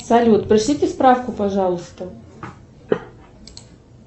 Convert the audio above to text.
салют пришлите справку пожалуйста